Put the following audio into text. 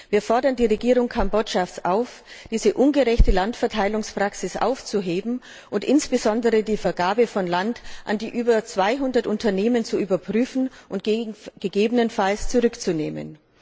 Wir fordern die Regierung Kambodschas auf, diese ungerechte Landverteilungspraxis aufzuheben und insbesondere die Vergabe von Land an die über 200 Unternehmen zu überprüfen und gegebenenfalls zurückzunehmen.